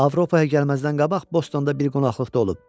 Avropaya gəlməzdən qabaq Bostonda bir qonaqlıqda olub.